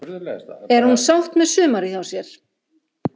Er hún sátt með sumarið hjá sér?